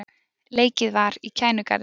Leikið var í Kænugarði